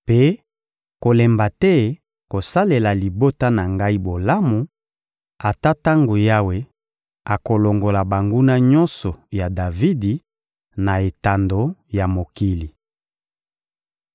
Mpe kolemba te kosalela libota na ngai bolamu, ata tango Yawe akolongola banguna nyonso ya Davidi, na etando ya mokili.»